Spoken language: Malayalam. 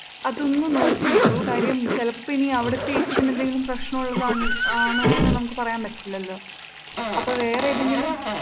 അതൊന്ന് നോക്കി നോക്കു കാര്യം ചെലപ്പം ഇനി അവിടുത്തെ നു എന്തെങ്കിലും പ്രശ്നമുള്ളതാണോന്ന് നമുക്ക് പറയാം പറ്റില്ലല്ലോ.